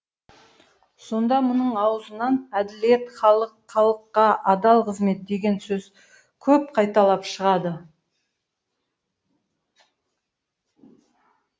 сонда мұның аузынан әділет халық халыққа адал қызмет деген сөз көп қайталап шығады